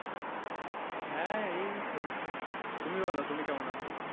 হ্যাঁ এই চলছে, তুমি বলো তুমি কেমন আছো?